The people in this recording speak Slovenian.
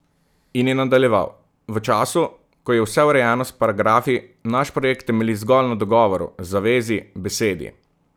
In je nadaljeval: "V času, ko je vse urejeno s paragrafi, naš projekt temelji zgolj na dogovoru, zavezi, besedi.